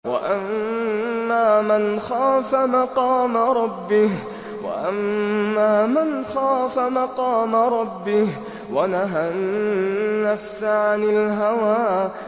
وَأَمَّا مَنْ خَافَ مَقَامَ رَبِّهِ وَنَهَى النَّفْسَ عَنِ الْهَوَىٰ